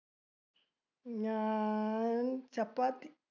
ഞാൻ chapathi